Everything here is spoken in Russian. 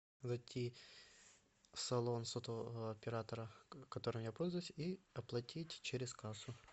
зайти салон сотового оператора которым я пользуюсь и оплатить через кассу